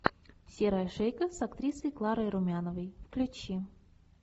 серая шейка с актрисой кларой румяновой включи